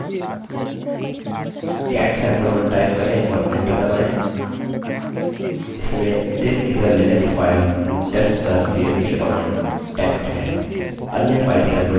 cat sampe1 type करें और enter दबायें इसमें this is a linux file to test the cmp command text है